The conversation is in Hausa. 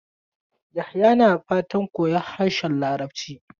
Yahaya na fatan koyon harshen Larabci.